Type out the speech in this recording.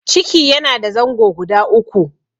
ciki yana da zango guda uku.